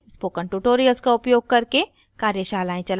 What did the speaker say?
spoken tutorials का उपयोग करके कार्यशालाएं चलाती है